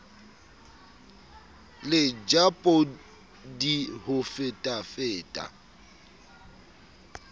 le ja podi ho fetafeta